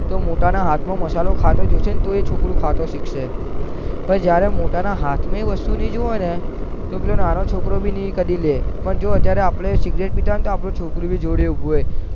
તો મોટા ના હાથ માં મસાલો ખાતા જોવસે તો એ છોકરું ખાતા શીખશે પણ જયારે મોટા ના હાથ માં એ વસ્તુ નઈ જોવાને તો પેલો નાનો છોકરો બી નઈ કદી લે પણ આપડે જયારે સિગરેટ પિતા હોય તો આપણું છોકરું બી આપડે જોડે ઉભું હોય